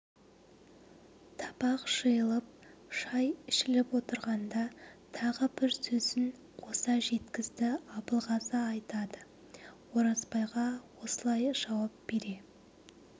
табақ жиылып шай ішіліп отырғанда тағы бір сөзін қоса жеткізді абылғазы айтады оразбайға осылай жауап бере